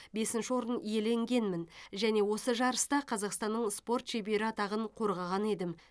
бесінші орын иеленгенмін және осы жарыста қазақстанның спорт шебері атағын қорғаған едім